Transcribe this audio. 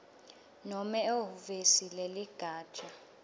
nobe ehhovisi leligatja